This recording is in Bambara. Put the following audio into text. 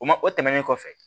O ma o tɛmɛnen kɔfɛ